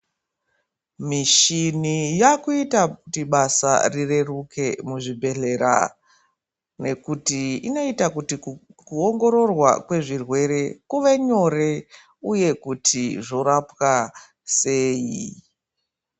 Mishini yakuita kuti basa rireruke muzvibhedhlera nekuti inoita kuti kuongororwa kwezvirwere kuve nyore uye kuti zvorapwa sei .